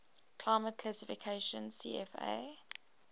climate classification cfa